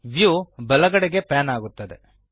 view ಬಲಗಡೆಗೆ pan ಆಗುತ್ತದೆ